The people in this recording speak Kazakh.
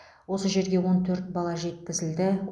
осы жерге он төрт бала жеткізілді